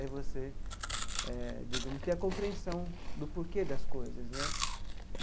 É você eh digamos ter a compreensão do porquê das coisas né.